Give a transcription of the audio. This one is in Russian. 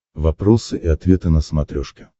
вопросы и ответы на смотрешке